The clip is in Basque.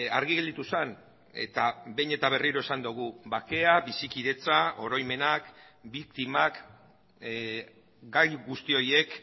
argi gelditu zen eta behin eta berriro esan dugu bakea bizikidetza oroimenak biktimak gai guzti horiek